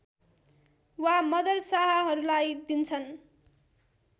वा मदरसाहरूलाई दिन्छन्